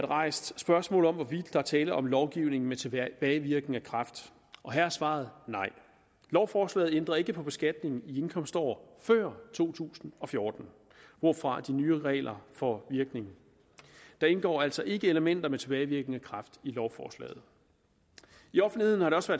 rejst spørgsmål om hvorvidt der er tale om lovgivning med tilbagevirkende kraft her er svaret nej lovforslaget ændrer ikke på beskatningen i indkomstår før to tusind og fjorten hvorfra de nye regler får virkning der indgår altså ikke elementer med tilbagevirkende kraft i lovforslaget i offentligheden er det også